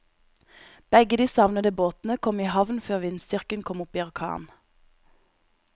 Begge de savnede båtene kom i havn før vindstyrken kom opp i orkan.